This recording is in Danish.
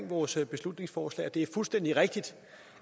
vores beslutningsforslag det er fuldstændig rigtigt